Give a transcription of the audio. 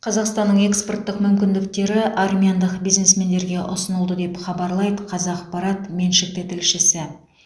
қазақстанның экспорттық мүмкіндіктері армяндық бизнесмендерге ұсынылды деп хабарлайды қазақпарат меншікті тілшісі